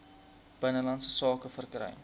binnelandse sake verkry